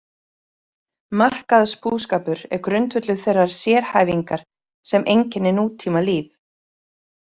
Markaðsbúskapur er grundvöllur þeirrar sérhæfingar sem einkennir nútímalíf.